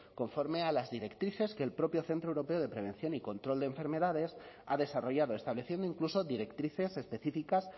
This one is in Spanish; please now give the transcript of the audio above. conforme a las directrices que el propio centro europeo de prevención y control de enfermedades ha desarrollado estableciendo incluso directrices específicas